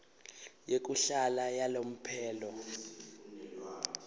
yekuhlala yalomphelo